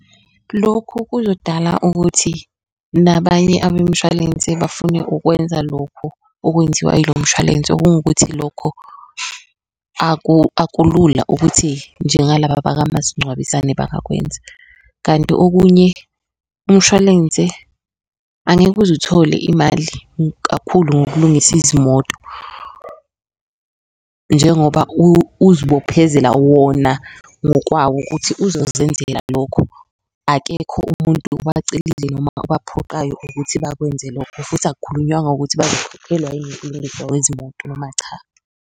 Lokhu kuzodala ukuthi nabanye abemshwalense bafune ukwenza lokhu okwenziwa yilo mshwalense okungukuthi lokho akulula ukuthi njengalaba bakamasincwabisane bangakwenza. Kanti okunye umshwalense angeke uze uthole imali kakhulu ngokulungisa izimoto njengoba ukuzibophezela wona ngokwawo ukuthi uzozenzela lokho. Akekho umuntu obacele noma obaphoqayo ukuthi bakwenze lokho futhi akukhulunywanga ukuthi wezimoto noma cha.